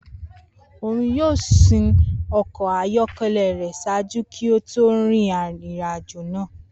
Oun yoo sin ọkọ ayọkẹlẹ rẹ ṣaaju ki o to rin irin-ajo.